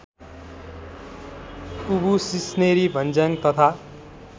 ऊवु सिस्नेरीभन्ज्याङ तथा